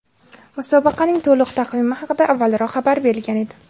Musobaqaning to‘liq taqvimi haqida avvalroq xabar berilgan edi .